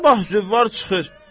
Sabah züvvar çıxır.